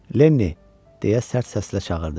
Lenni, deyə sərt səslə çağırdı.